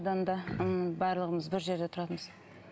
барлығымыз бір жерде тұратынбыз